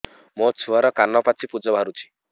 ମୋ ଛୁଆର କାନ ପାଚି ପୁଜ ବାହାରୁଛି